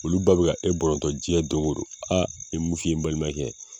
Olu ba be ka e bɔnrɔntɔ jiɲɛ donkodon aa n be mun f'i ye n balimakɛ